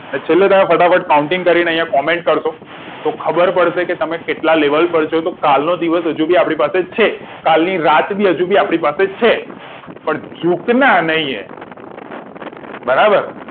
ફટાફટ counting કરીને comment કરશો તો ખબર પડશે કે તમે કેટલા level પર છો તો કાલનો દિવસ હજુ આપની પાસે છે કાલની રાત પણ આપડી પાસે છે પણ જુકના નહી હે બરાબર